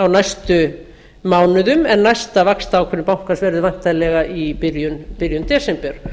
á næstu mánuðum en næsta vaxtaákvörðun bankans verður væntanlega í byrjun desember